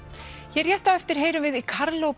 hér rétt á eftir heyrum við í